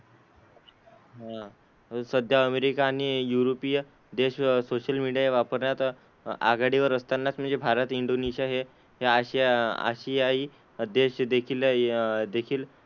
हां. सध्या अमेरिका आणि युरोपीय देश सोशल मीडिया वापरण्यात आघाडीवर असतानाच म्हणजे भारत, इंडोनेशिया हे हे आशिया आशियाई देश देखील अह देखील,